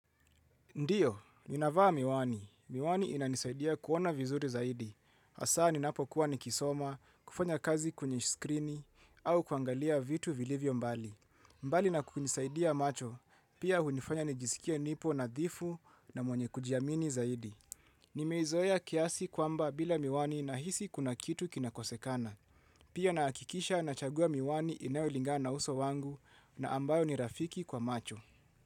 Ndiyo, ninavaa miwani. Miwani inanisaidia kuona vizuri zaidi. Hasa ninapo kuwa nikisoma, kufanya kazi kwenye skrini, au kuangalia vitu vilivyo mbali. Mbali na kunisaidia macho, pia hunifanya nijisikie nipo nadhifu na mwenye kujiamini zaidi. Nimeizoea kiasi kwamba bila miwani nahisi kuna kitu kinakosekana. Pia nahakikisha nachagua miwani inayolingana uso wangu na ambayo ni rafiki kwa macho.